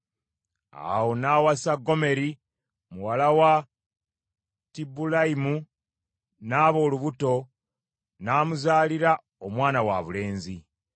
Awo n’awasa Gomeri muwala wa Dibulayimu, n’aba olubuto, n’amuzaalira omwana wabulenzi.